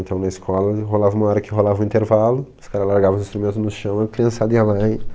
Então na escola rolava uma hora que rolava o intervalo, os cara largava os instrumento no chão, a criançada ia lá e...